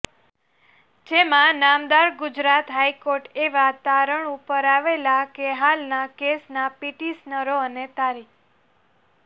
જેમાં નામદાર ગુજરાત હાઈકોર્ટ એવા તારણ ઉપર આવેલા કે હાલના કેસના પિટિશનરો અને તા